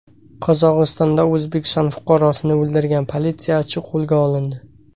Qozog‘istonda O‘zbekiston fuqarosini o‘ldirgan politsiyachi qo‘lga olindi.